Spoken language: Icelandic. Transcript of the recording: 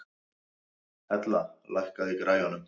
Hella, lækkaðu í græjunum.